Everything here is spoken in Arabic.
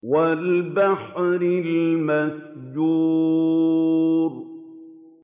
وَالْبَحْرِ الْمَسْجُورِ